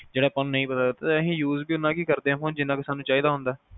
ਯਾਰ ਆਪਾ ਨੂੰ ਨਹੀਂ ਪਤਾ ਆਪਾ use ਵੀ ਤਾ ਉਹਨਾਂ ਕ ਕਰਦੇ ਆ ਜਿਹਨਾਂ ਕ ਸਾਨੂ ਚਾਹੀਦਾ ਹੁੰਦਾ